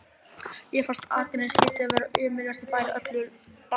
Mér fannst að Akranes hlyti að vera ömurlegasti bær á öllu Íslandi.